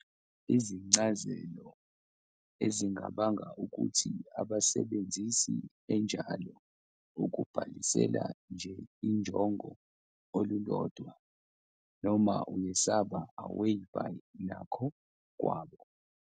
Izincazelo ezingabanga ukuthi abasebenzisi enjalo ukubhalisela nje injongo olulodwa, noma uyesaba away by nakho kwabo.